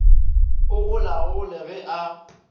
o go laole ge a